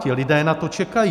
Ti lidé na to čekají.